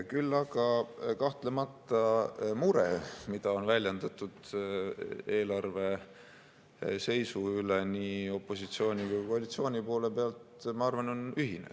Küll aga kahtlemata mure, mida on väljendatud eelarve seisu üle nii opositsiooni kui ka koalitsiooni poole pealt, on ühine.